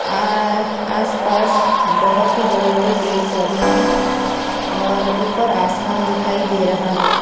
आ आसपास बहोत ही बड़े बड़े पेड़ पौधे हैं और ऊपर आसमान दिखाई दे रहा है।